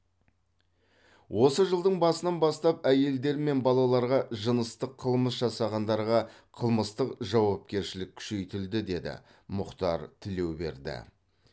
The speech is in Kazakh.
осы жылдың басынан бастап әйелдер мен балаларға жыныстық қылмыс жасағандарға қылмыстық жауапкершілік күшейтілді деді мұхтар тілеуберді